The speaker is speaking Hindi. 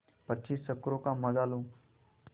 पच्चीस चक्करों का मजा लो